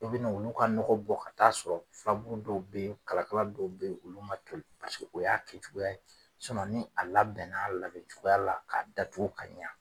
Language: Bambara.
I bɛna olu ka nɔgɔ bɔ ka taa sɔrɔ furabulu dɔw be ye, kalakala dɔw be ye, olu ma toli paseke o y'a kɛcogoya ye. ni a labɛnn'a labɛ cogoya la k'a datugu ka ɲa